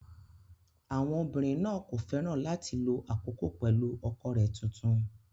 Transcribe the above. Àwọn obìnrin náà kò fẹ́ràn láti lo àkókò pẹ̀lú ọkọ rẹ̀ tuntun